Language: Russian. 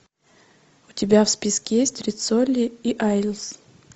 у тебя в списке есть риццоли и айлс